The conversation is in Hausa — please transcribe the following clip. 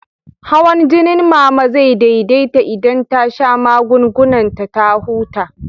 Hawan jinin Mama zai daidaita idan ta sha magungunan ta ta huta.